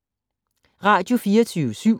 Radio24syv